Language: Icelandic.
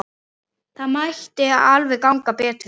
Það mætti alveg ganga betur.